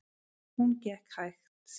Hún gekk hægt.